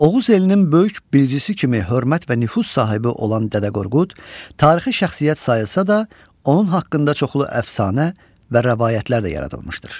Oğuz elinin böyük bilgisi kimi hörmət və nüfuz sahibi olan Dədə Qorqud, tarixi şəxsiyyət sayılsa da, onun haqqında çoxlu əfsanə və rəvayətlər də yaradılmışdır.